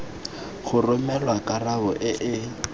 go romelwa karabo e e